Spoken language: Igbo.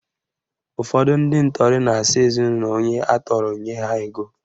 Ụfọdụ ndị ntọrị na-asị ezinaụlọ onye atọrọ nye ha ego